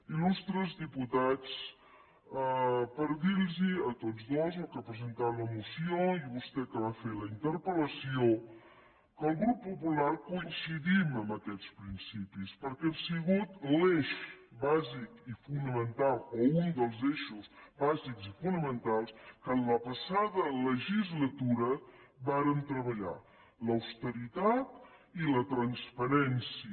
il·lustres diputats per dir los a tots dos al que ha presentat la moció i a vostè que va fer la interpel·lació que el grup popular coincidim en aquests principis perquè han sigut l’eix bàsic i fonamental o un dels eixos bàsics i fonamentals que en la passada legislatura vàrem treballar l’austeritat i la transparència